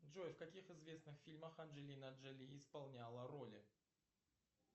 джой в каких известных фильмах анджелина джоли исполняла роли